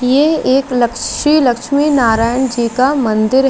ये एक लक्सी लक्ष्मी नारायण जी का मंदिर--